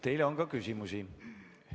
Teile on ka küsimusi.